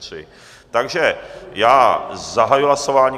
Takže já zahajuji hlasování.